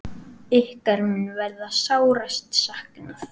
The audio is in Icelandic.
Ykkar mun verða sárast saknað.